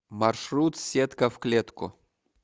маршрут сетка в клетку